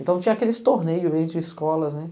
Então tinha aqueles torneios aí de escolas, né?